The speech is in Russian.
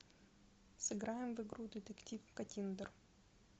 сыграем в игру детектив каттиндер